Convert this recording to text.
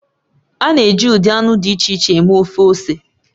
A na-eji ụdị anụ dị iche iche eme ofe ose